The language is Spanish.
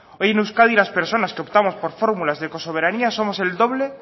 hoy en euskadi las personas que optamos por fórmulas de ecosoberania somos el doble